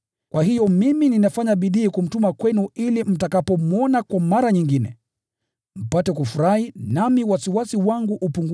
Kwa hiyo mimi ninafanya bidii kumtuma kwenu ili mtakapomwona kwa mara nyingine, mpate kufurahi, nami wasiwasi wangu upungue.